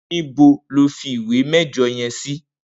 Nibó ló fi ìwé mẹjọ yèn si?